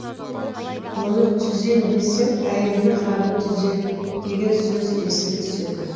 оны түзейім десең әйелдің халін түзе деген сөзі еске түседі